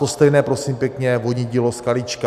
To stejné, prosím pěkně, vodní dílo Skalička.